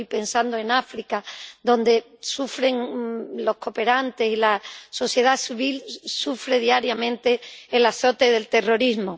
Estoy pensando en África, donde los cooperantes y la sociedad civil sufren diariamente el azote del terrorismo.